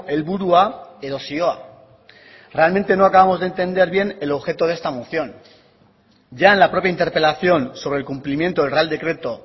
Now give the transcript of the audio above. helburua edo zioa realmente no acabamos de entender bien el objeto de esta moción ya en la propia interpelación sobre el cumplimiento del real decreto